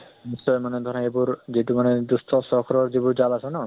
নিশ্চয় মানে ধৰা, সেইবোৰ, যিটো মানে দুষ্টচক্ৰৰ যিবোৰ ছাল আছে ন